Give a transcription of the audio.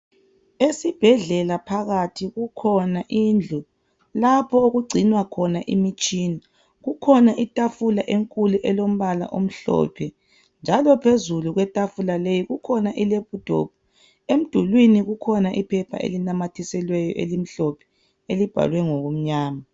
Esibhedlela phakathikukhona indlu . Lapho okugcinwa khona imitshina Kukhona ithafula enkulu elombala omhlophe. Njalo phezulu kwe thafula leyi kukhona lephuthophu. Emdulwini kukhona iphepha ilinamathiselweyo elimhlophe elibhalwe ngokumnyama.